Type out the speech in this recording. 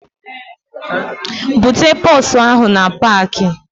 Bute bọọsụ ahụ na paakị!